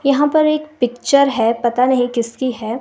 यहाँ पर एक पिक्चर है पता नहीं किसकी है।